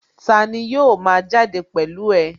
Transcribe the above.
Tani yóò ma jáde pẹ̀lú ẹ?